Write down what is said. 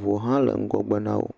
ʋua ha leŋgɔgbe nawo.